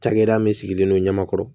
Cakɛda min sigilen don ɲɛmakɔrɔ